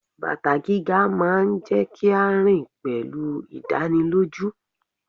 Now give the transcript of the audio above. Bàtà gíga máa ń jẹ́ kí a rìn pẹ̀lú ìdánilójú.